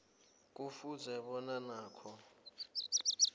kufuze bona nakho